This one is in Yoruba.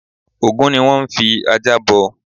Ògún ni wón n fi ajá bọ